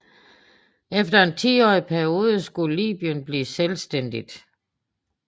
Efter en tiårig periode skulle Libyen blive selvstændigt